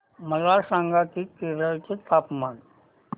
मला सांगा की केरळ चे तापमान